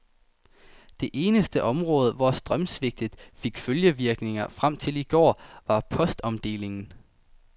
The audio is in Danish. Det eneste område, hvor strømsvigtet fik følgevirkninger frem til i går, var postomdelingen.